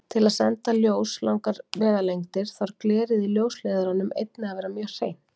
Til að senda ljós langar vegalengdir þarf glerið í ljósleiðaranum einnig að vera mjög hreint.